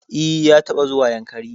E, ya taɓa zuwa Yankari.